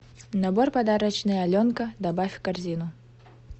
набор подарочный аленка добавь в корзину